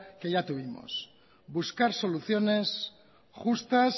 que ya tuvimos buscar soluciones justas